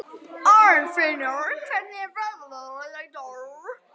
Arnfinnur, hvernig er veðrið í dag?